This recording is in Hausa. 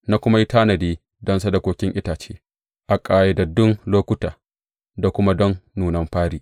Na kuma yi tanadi don sadakokin itace a ƙayyadaddun lokuta, da kuma don nunan fari.